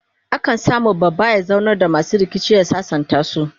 a kan samu babba ya zaunar da masu rikici ya sasantasu